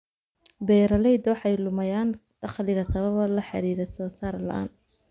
Beeralayda waxay lumayaan dakhliga sababo la xiriira soo saar la'aan.